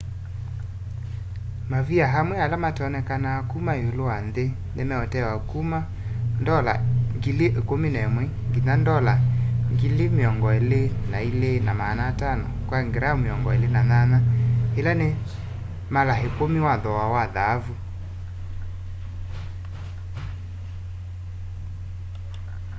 mavia amwe ala matonekanaa muno iulu wa nthi ni meutewa kuma us$11,000 nginya us$22,500 kwa kila gram 28 ila ni mala ikumi wa thoowa wa thaavu